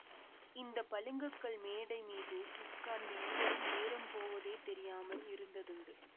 இந்த பளிங்குக்கல் மேடை மீது உட்கார்ந்து இருவரும் நேரம் போவதே தெரியாமல் இருந்ததுண்டு